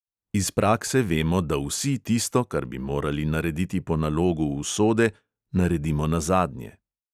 Iz prakse vemo, da vsi tisto, kar bi morali narediti po nalogu usode, naredimo nazadnje.